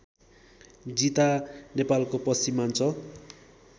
जिता नेपालको पश्चिमाञ्चल